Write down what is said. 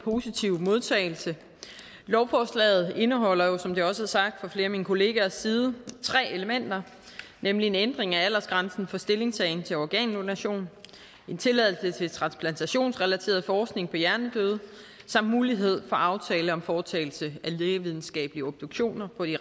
positive modtagelse lovforslaget indeholder som det også er sagt fra flere af mine kollegaers side tre elementer nemlig en ændring af aldersgrænsen for stillingtagen til organdonation en tilladelse til transplantationsrelateret forskning på hjernedøde samt mulighed for aftale om foretagelse af lægevidenskabelige obduktioner på de